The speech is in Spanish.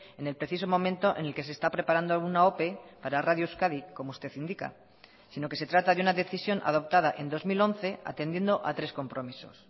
en el preciso momento en el que se está preparando una ope para radio euskadi como usted indica sino que se trata de una decisión adoptada en dos mil once atendiendo a tres compromisos